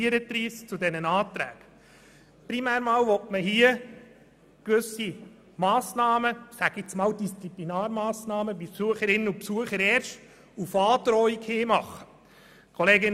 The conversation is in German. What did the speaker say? Hier sollen gewisse Disziplinarmassnahmen in Zusammenhang mit Besucherinnen und Besuchern erst auf Androhung hin gemacht werden können.